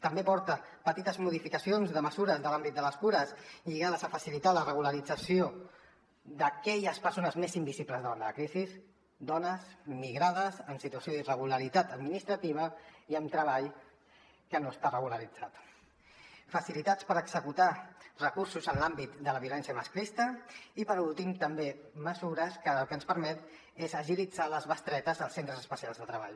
també porta petites modificacions de mesures de l’àmbit de les cures lligades a facilitar la regularització d’aquelles persones més invisibles davant de la crisi dones migrades en situació d’irregularitat administrativa i amb treball que no està regularitzat facilitats per executar recursos en l’àmbit de la violència masclista i per últim també mesures que el que ens permeten és agilitzar les bestretes als centres especials de treball